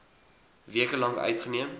weke lank uitgeneem